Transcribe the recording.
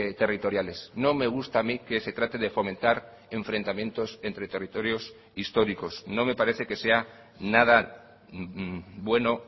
territoriales no me gusta a mí que se trate de fomentar enfrentamientos entre territorios históricos no me parece que sea nada bueno